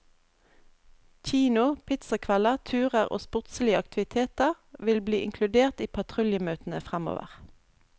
Kino, pizzakvelder, turer og sportslige aktiviteter vil bli inkludert i patruljemøtene fremover.